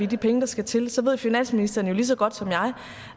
de penge der skal til så ved finansministeren jo lige så godt som jeg